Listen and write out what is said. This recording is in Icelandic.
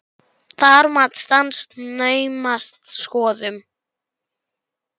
Það mat stenst naumast skoðun.